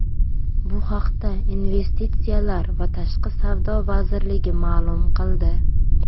Bu haqda Investitsiyalar va tashqi savdo vazirligi ma’lum qildi .